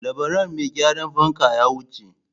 Labaran mai gyaran fanka ya wuce.